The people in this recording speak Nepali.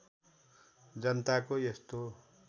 जनताको यस्तो